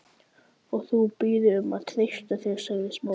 Og þú biður mig um að treysta þér- sagði Smári.